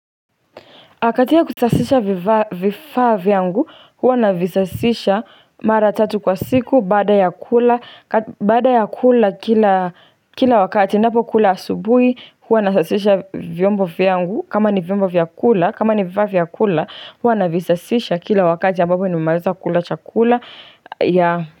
Katika kutasisha vifaa vyangu huwa navisasisha mara tatu kwa siku baada ya kula bada ya kula kila kila wakati napokula asubuhi huwa nasasisha vyombo vyangu kama ni vyombo vya kula kama ni vifaa vya kula huwa navisasisha kila wakati ambapo nimemaweza kula chakula yea.